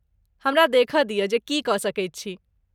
हमरा देखय दियऽ जे की कऽ सकैत छी?